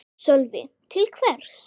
Sölvi: Til hvers?